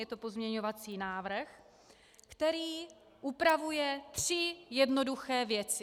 Je to pozměňovací návrh, který upravuje tři jednoduché věci: